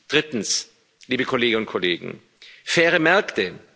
Drittens, liebe Kolleginnen und Kollegen faire Märkte.